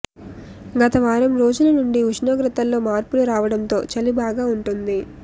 గత వారం రోజుల నుండి ఉష్ణోగ్రతల్లో మార్పులు రావడంతో చలి బాగా ఉంటోంది